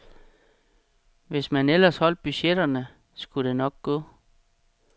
Hvis man ellers holdt budgetterne, skulle det nok gå.